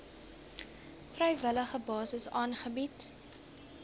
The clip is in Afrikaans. vrywillige basis aangebied